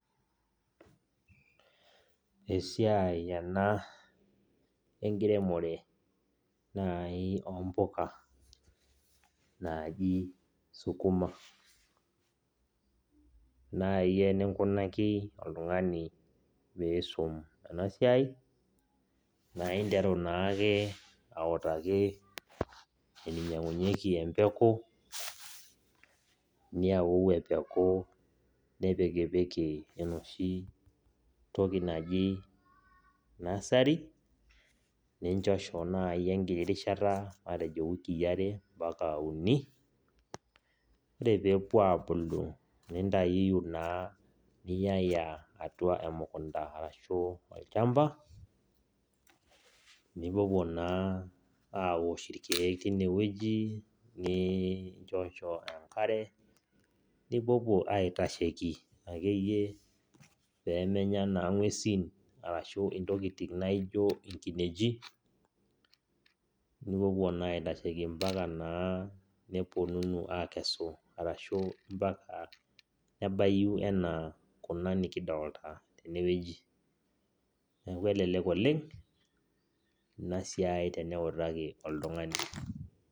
Esiai ena enkiremore nai ompuka naji sukuma. Nai eninkunaki oltung'ani piisum enasiai, naa interu naake autaki eninyang'unyeki empeku, niyau empeku nipikipiki enoshi toki naji nasari, ninchosho nai enkiti rishata matejo wikii are mpaka uni, ore pepuo abulu, nintayuyu naa niyaya atua emukunda arashu olchamba, nipuopuo naa awosh irkeek tinewueji, ninchosho enkare, nipuopuo aitasheki akeyie pemenya naa ng'uesin arashu intokiting naijo inkineji, nipuopuo naa aitasheki mpaka anaa niponunu akesu arashu mpaka nebayu enaa kuna nikidolta tenewueji. Neeku elelek oleng, inasiai teniutaki oltung'ani.